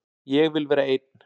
Ég vil vera einn.